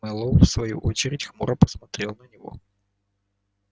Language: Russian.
мэллоу в свою очередь хмуро посмотрел на него